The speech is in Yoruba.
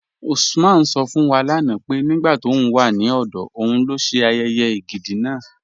Usman sọ̀ fún wa lánà pé nígbà tó ń wà ní ọdọ̀ ọ̀un ló ṣè ayéyé ègídi náà.